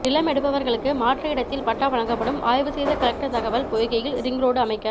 நிலம் எடுப்பவர்களுக்கு மாற்று இடத்தில் பட்டா வழங்கப்படும் ஆய்வு செய்த கலெக்டர் தகவல் பொய்கையில் ரிங்ரோடு அமைக்க